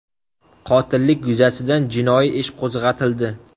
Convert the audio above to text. Qotillik yuzasidan jinoiy ish qo‘zg‘atildi.